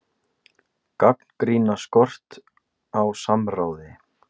Gagnrýna skort á samráði